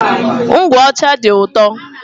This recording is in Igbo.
Ngwụ ọcha dị ụtọ.